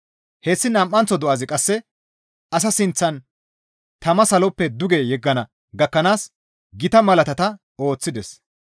Hessi nam7anththo do7azi qasse asa sinththan tama saloppe duge yeggana gakkanaas gita malaatata ooththides.